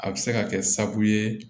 A bɛ se ka kɛ sababu ye